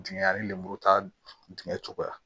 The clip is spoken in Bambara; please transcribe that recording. Dingɛ ani lemuru ta dingɛ cogoya